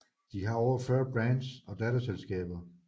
De har over 40 brands og datterselskaber